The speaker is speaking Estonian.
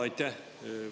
Aitäh!